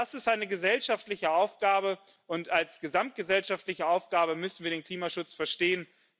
All das ist eine gesellschaftliche Aufgabe, und als gesamtgesellschaftliche Aufgabe müssen wir den Klimaschutz verstehen.